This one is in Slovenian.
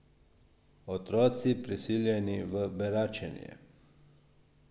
Otroci, prisiljeni v beračenje.